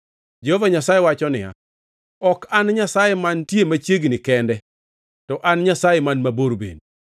Jehova Nyasaye wacho niya, “Ok an Nyasaye mantie machiegni kende, to an Nyasaye man mabor bende.”